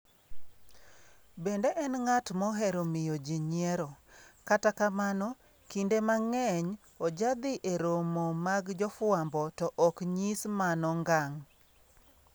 Bende en ng'at mohero miyo ji nyiero, kata kamano kinde mang'eny ojadhi e romo mag jofwambo to ok nyis mano ngang.